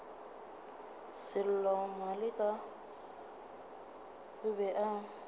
sello maleka o be a